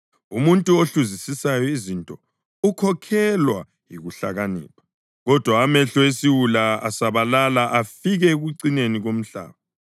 Umuntu ohluzisisayo izinto ukhokhelwa yikuhlakanipha, kodwa amehlo esiwula asabalala afike ekucineni komhlaba.